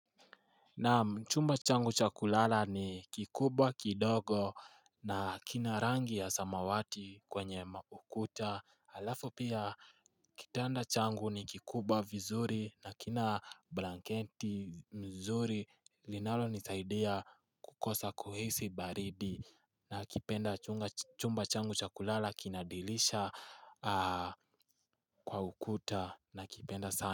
Naam chumba changu cha kulala ni kikubwa kidogo na kina rangi ya samawati kwenye maukuta alafu pia kitanda changu ni kikubwa vizuri na kina blankenti mzuri linalo nisaidia kukosa kuhisi baridi nakipenda chumba changu cha kulala kinadilisha kwa ukuta nakipenda sana.